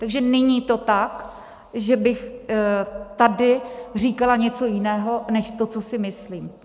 Takže není to tak, že bych tady říkala něco jiného než to, co si myslím.